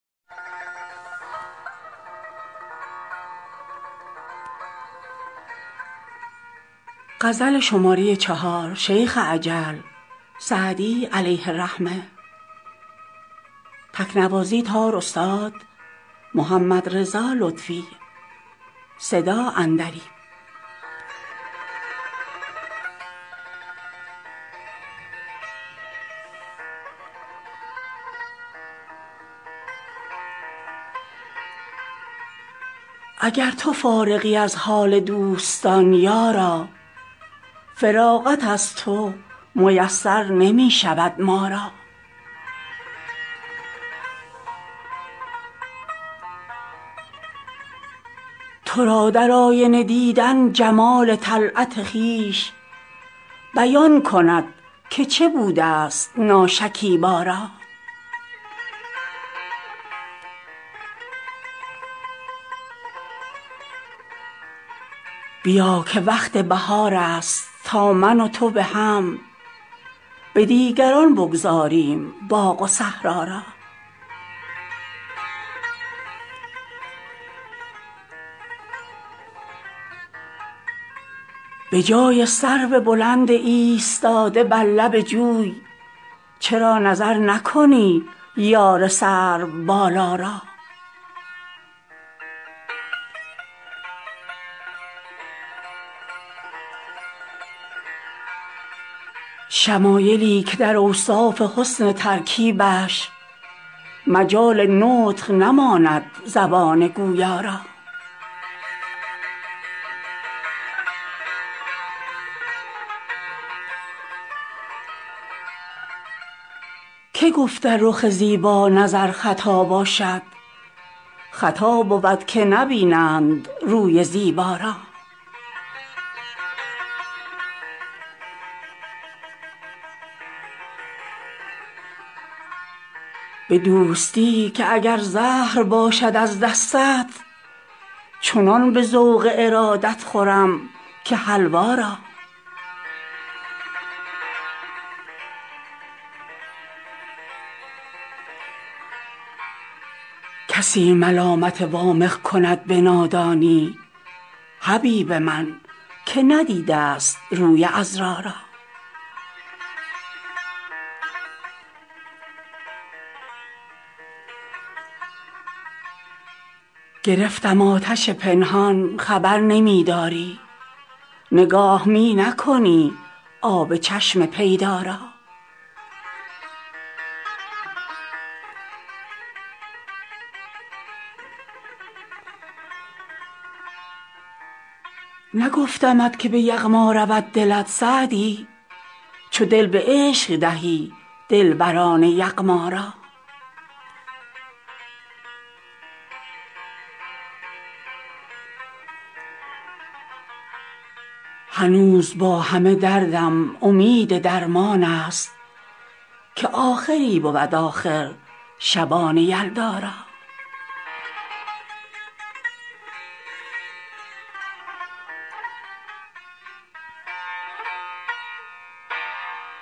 اگر تو فارغی از حال دوستان یارا فراغت از تو میسر نمی شود ما را تو را در آینه دیدن جمال طلعت خویش بیان کند که چه بوده ست ناشکیبا را بیا که وقت بهار است تا من و تو به هم به دیگران بگذاریم باغ و صحرا را به جای سرو بلند ایستاده بر لب جوی چرا نظر نکنی یار سروبالا را شمایلی که در اوصاف حسن ترکیبش مجال نطق نماند زبان گویا را که گفت در رخ زیبا نظر خطا باشد خطا بود که نبینند روی زیبا را به دوستی که اگر زهر باشد از دستت چنان به ذوق ارادت خورم که حلوا را کسی ملامت وامق کند به نادانی حبیب من که ندیده ست روی عذرا را گرفتم آتش پنهان خبر نمی داری نگاه می نکنی آب چشم پیدا را نگفتمت که به یغما رود دلت سعدی چو دل به عشق دهی دلبران یغما را هنوز با همه دردم امید درمان است که آخری بود آخر شبان یلدا را